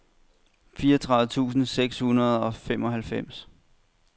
fireogtredive tusind seks hundrede og femoghalvfems